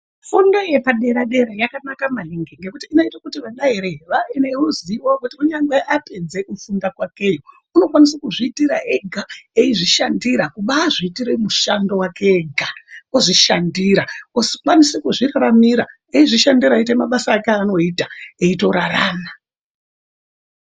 Fundo yebadera dera yakanaka maningi ngekuti inoita kuti ana ere, wawe neruziwo kuti kunyangwe apedze kufunda kwakeyo, unokwanisa kuzviitira ega, eizvishandira kuba azviitira mushando wake ega ozvishandira ozokwanisa kuzviraramira eizvishandira eiita mabasa ake anoita eitorarama.